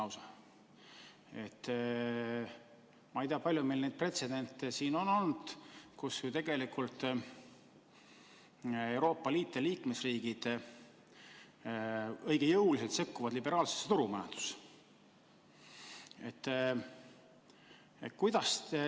Ma ei tea, kui palju meil on olnud pretsedente, kus tegelikult Euroopa Liit ja liikmesriigid õige jõuliselt sekkuvad liberaalsesse turumajandusse.